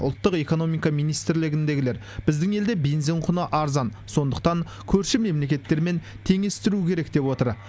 ұлттық экономика министрлігіндегілер біздің елде бензин құны арзан сондықтан көрші мемлекеттермен теңестіру керек деп отыр